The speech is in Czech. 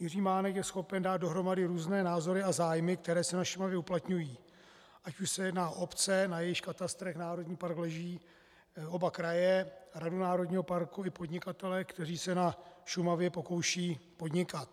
Jiří Mánek je schopen dát dohromady různé názory a zájmy, které se na Šumavě uplatňují, ať už se jedná o obce, na jejichž katastrech národní park leží, oba kraje, radu národního parku i podnikatele, kteří se na Šumavě pokoušejí podnikat.